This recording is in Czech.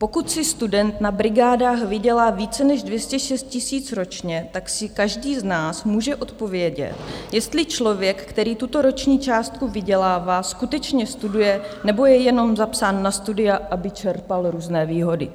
Pokud si student na brigádách vydělá více než 206 000 ročně, tak si každý z nás může odpovědět, jestli člověk, který tuto roční částku vydělává, skutečně studuje, nebo je jenom zapsán na studia, aby čerpal různé výhody.